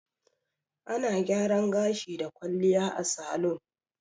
Ana gyaran gashi da kwalliya a salun.